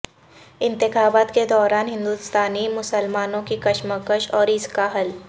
انتخابات کے دوران ہندوستانی مسلمانوں کی کشمکش اور اس کا حل